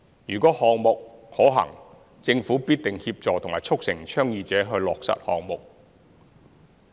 如項目是可行的，政府必定協助和促成倡議者落實項目。